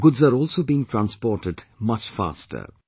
Goods are also being transported much faster